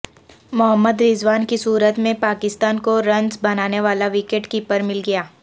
محمد رضوان کی صورت میں پاکستان کو رنز بنانے والا وکٹ کیپر مل گیا